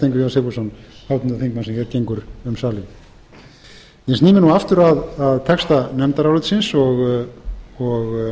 þingmann sem hér gengur um salinn ég sný mér nú aftur að texta nefndarálitsins og